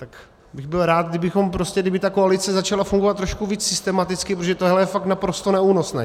Tak bych byl rád, kdyby ta koalice začala fungovat trošku víc systematicky, protože tohle je fakt naprosto neúnosné.